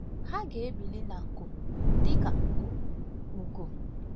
Ha ga-ebili na nku dịka ugo. ugo.